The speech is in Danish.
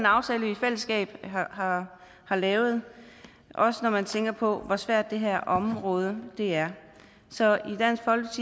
aftale vi i fællesskab har lavet også når man tænker på hvor svært det her område er så